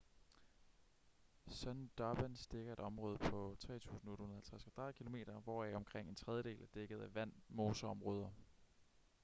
sundarbans dækker et område på 3.850 km² hvoraf omkring en tredjedel er dækket af vand/moseområder